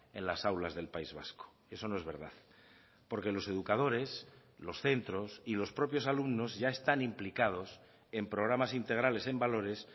en las aulas del país vasco eso no es verdad porque los educadores los centros y los propios alumnos ya están implicados en programas integrales en valores